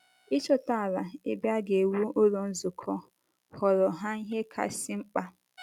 Ịchọta ala ebe a ga - ewu Ụlọ Nzukọ ghọọrọ ha ihe kasị mkpa.